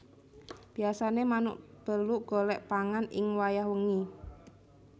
Biyasané manuk beluk golek pangan ing wayah wengi